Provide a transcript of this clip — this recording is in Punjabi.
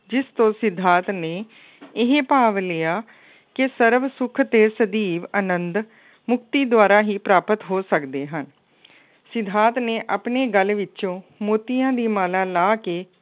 ਜਿਸ ਤੋਂ ਸਿਧਾਰਥ ਨੇ ਇਹ ਭਾਵ ਲਿਆ ਕਿ ਸਰਬ ਸੁੱਖ ਅਤੇ ਸਦੀਵ ਆਨੰਦ ਮੁਕਤੀ ਦੁਆਰਾ ਹੀ ਪ੍ਰਾਪਤ ਹੋ ਸਕਦੇ ਹਨ। ਸਿਧਾਰਥ ਨੇ ਆਪਣੀ ਗਲ ਵਿੱਚੋਂ ਮੋਤੀਆਂ ਦੀ ਮਾਲਾ ਲਾਹ ਕੇ